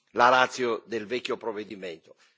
la ratio del vecchio provvedimento.